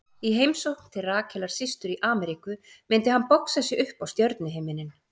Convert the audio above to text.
Í heimsókn til Rakelar systur í Ameríku myndi hann boxa sig upp á stjörnuhimininn.